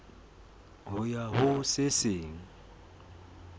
ho ya ho se seng